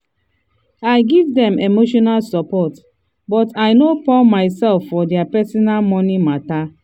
i give dem emotional support but i no pou myself for dia personal money matter.